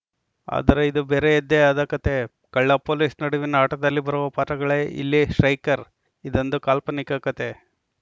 ಆದರೆ ಇದು ಬೇರೆಯದ್ದೇ ಆದ ಕತೆ ಕಳ್ಳಪೊಲೀಸ್‌ ನಡುವಿನ ಆಟದಲ್ಲಿ ಬರುವ ಪಾತ್ರಗಳೇ ಇಲ್ಲಿ ಸ್ಟ್ರೈಕರ್ ಇದೊಂದು ಕಾಲ್ಪನಿಕ ಕತೆ